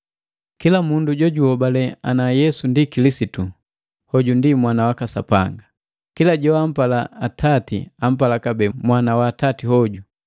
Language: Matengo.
Kila mundu jojuhobale ana Yesu ndi Kilisitu, hoju ndi mwana waka Sapanga. Kila joampala atati ampala kabee mwana wa atati hoju.